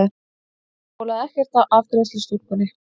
Það bólaði ekkert á afgreiðslustúlkunni.